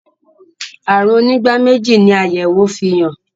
àrùn onígbáméjì ni ayẹwo fihàn.